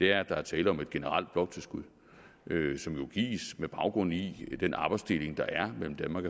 er at der er tale om et generelt bloktilskud som jo gives med baggrund i den arbejdsdeling der er mellem danmark